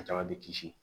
A caman bɛ kisi